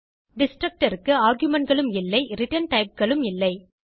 destructor க்கு argumentகளும் இல்லை ரிட்டர்ன் typeகளும் இல்லை